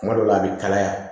Kuma dɔw la a bi kalaya